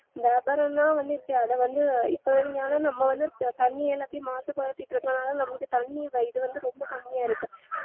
வியாபாரம்லா வந்து இப்ப அதவந்து நம்ம வந்து தண்ணீ எல்லாத்தையும் மாசு படுத்திட்டு இருக்கனால நமக்கு தண்ணீ இல்ல இது வந்து ரொம்ப கம்மியா இருக்கு